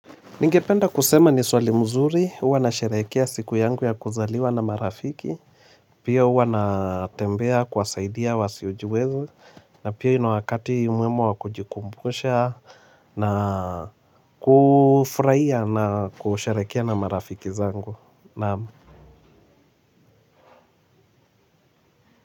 Ningependa kusema ni swali mzuri, huwa na sherehekea siku yangu ya kuzaliwa na marafiki, pia huwa na tembea kuwasaidia wa siojiweza, na pia hii ni wakati mwema wa kujikumbusha na kufurahia na kusherehekea na marafiki zangu.